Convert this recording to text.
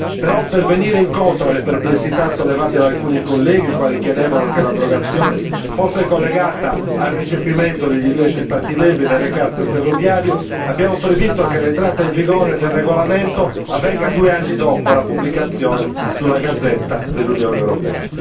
Però, per venire incontro alle perplessità sollevate da alcuni colleghi, i quali chiedevano che l'abrogazione fosse collegata al recepimento da parte dei diversi Stati membri del recast ferroviario, abbiamo previsto che l'entrata in vigore del regolamento avvenga due anni dopo la pubblicazione nella Gazzetta ufficiale dell'Unione europea.